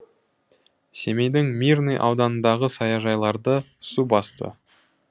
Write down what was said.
семейдің мирный ауданындағы саяжайларды су басты